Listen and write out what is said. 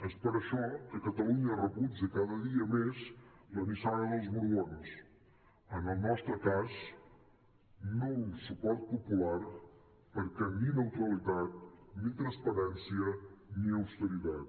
és per això que catalunya rebutja cada dia més la nissaga dels borbons en el nostre cas nul suport popular perquè ni neutralitat ni transparència ni austeritat